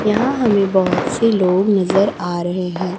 यहां हमें बहुत से लोग नजर आ रहे हैं।